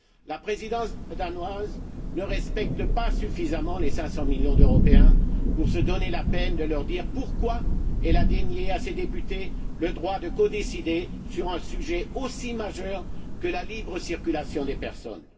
La Présidence danoise ne respecte pas suffisamment les 500 millions d'Européens pour se donner la peine de leur dire pourquoi elle a dénié à ses députés le droit de codécider sur un sujet aussi majeur que la libre circulation des personnes.